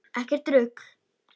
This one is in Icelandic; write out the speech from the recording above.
Ekkert rugl.